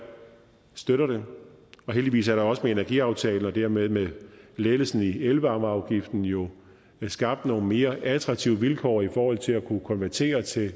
støtter det heldigvis er der også med energiaftalen og dermed med lettelsen i elvarmeafgiften jo skabt nogle mere attraktive vilkår i forhold til at kunne konvertere til